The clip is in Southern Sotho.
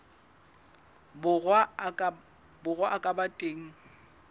borwa a ka ba teng